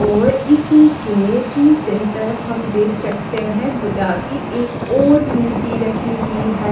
और इसी के दूसरे तरफ हम देख सकते हैं बुद्धा की एक और मूर्ति रखी हुई है।